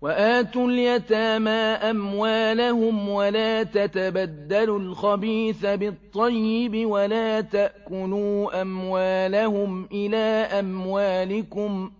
وَآتُوا الْيَتَامَىٰ أَمْوَالَهُمْ ۖ وَلَا تَتَبَدَّلُوا الْخَبِيثَ بِالطَّيِّبِ ۖ وَلَا تَأْكُلُوا أَمْوَالَهُمْ إِلَىٰ أَمْوَالِكُمْ ۚ